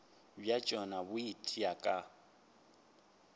bja tšona bo itia ka